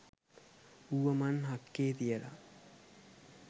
ඌව මන් හක්කේ තියල.